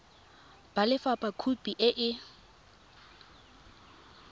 ba lefapha khopi e e